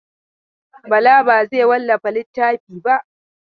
Bala ba zai wallafa littafin ba.